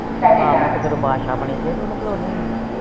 ਆਹੋ ਤੇ ਫਿਰ ਉਹ ਬਾਦਸ਼ਾ ਬਣੀ ਪਈ